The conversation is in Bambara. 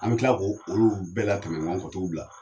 An bɛ tila k'o olu bɛɛ la tɛmɛ nkɔ ka t'u bila.